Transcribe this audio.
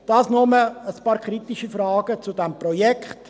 Dies nur ein paar kritische Fragen zu diesem Grossprojekt.